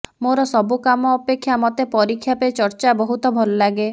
ମୋର ସବୁ କାମ ଅପେକ୍ଷା ମୋତେ ପରୀକ୍ଷା ପେ ଚର୍ଚ୍ଚା ବହୁତ ଭଲଲାଗେ